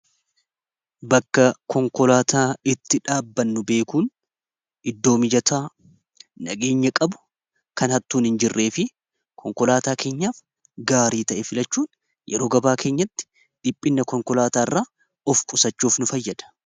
Bakka konkolaataa itti dhaabannu beekuun iddoo mijataa nageenya qabu kan hattuun hin jirree fi konkolaataa keenyaaf gaarii ta'e filachuun yeroo gabaa keenyatti dhiphinna konkolaataa irra of qusachuuf nu fayyada.